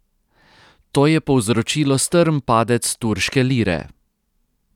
To je povzročilo strm padec turške lire.